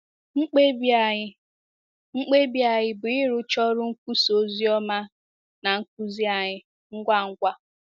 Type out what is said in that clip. Mkpebi anyị Mkpebi anyị bụ ịrụcha ọrụ nkwusa ozioma na nkuzi anyị ngwa ngwa.